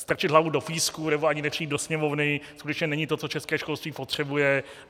Strčit hlavu do písku nebo ani nepřijít do Sněmovny skutečně není to, co české školství potřebuje.